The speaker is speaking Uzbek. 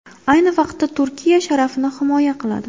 Ayni vaqtda Turkiya sharafini himoya qiladi.